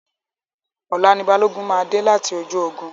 Ọ̀la ni Balógun máa dé láti ojú ogun.